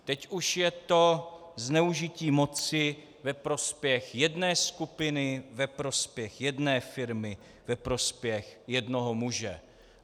Teď už je to zneužití moci ve prospěch jedné skupiny, ve prospěch jedné firmy, ve prospěch jednoho muže.